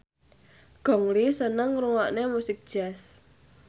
Gong Li seneng ngrungokne musik jazz